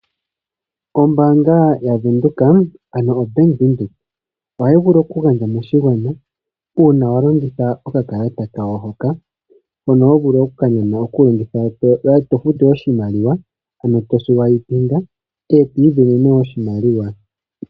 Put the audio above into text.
Ombaanga ya Venduka ano o Bank Windhoek ohayi vulu oku gandja moshigwana uuna wa longitha oka kalata kayo hoka . Hono ho vulu oku kaninga uuna to futu oshimaliwa ano to futu peshina nokakalata eto isindanene oshimaliwa.